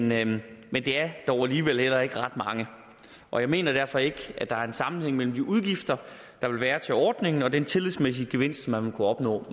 men men det er dog alligevel heller ikke ret mange og jeg mener derfor ikke at der er en sammenhæng mellem de udgifter der vil være til ordningen og den tillidsmæssige gevinst man vil kunne opnå